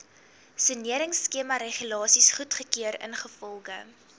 soneringskemaregulasies goedgekeur ingevolge